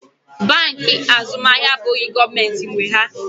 Bankị Azụmahịa abụghị gọọmentị nwe ha.